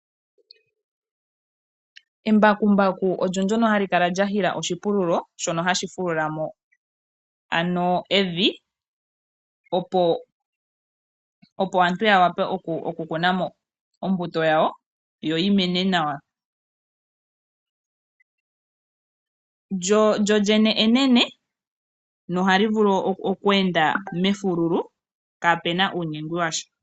Embakumbaku olyo ndjono hali kala lya hila oshipululo shono hashi fulula mo ano evi opo aantu yawape oku kuna mo ombuto yawo yoyi mene nawa. Lyo lyene enene nohali vulu oku enda mefululu kaapena uunyegwi washa.